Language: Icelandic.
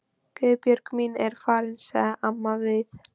Guðbjörg mín er farin, sagði amma við